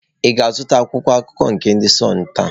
Ị ga-azụta Akwụkwọ akụkọ nke ndị de Sunụ taa?